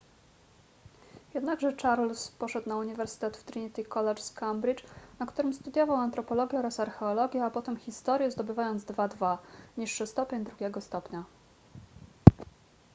jednakże charles poszedł na uniwersytet w trinity college z cambridge na którym studiował antropologię oraz archeologię a potem historię zdobywając 2:2 niższy stopień drugiego stopnia